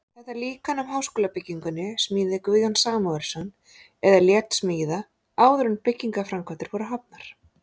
Þetta líkan af háskólabyggingunni smíðaði Guðjón Samúelsson eða lét smíða, áður en byggingarframkvæmdir voru hafnar.